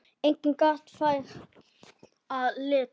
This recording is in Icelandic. Einnig gat þar að líta